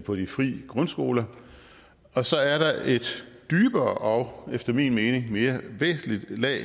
på de fri grundskoler og så er der et dybere og efter min mening mere væsentligt lag